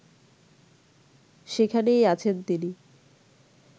সেখানেই আছেন তিনি